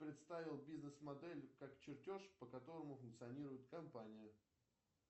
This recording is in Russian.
представил бизнес модель как чертеж по которому функционирует компания